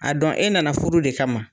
A dɔn e nana furu de kama ma.